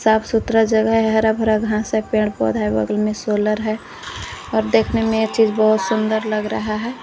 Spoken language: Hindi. साफ सुथरा जगह है हरा भरा घास है पेड़ पौधा है बगल में सोलर है और देखने में यह चीज बहुत सुंदर लग रहा है।